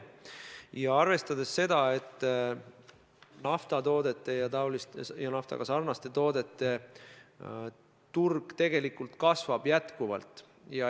Tuleb arvestada seda, et naftatoodete ja naftaga sarnaste toodete turg tegelikult kasvab jätkuvalt.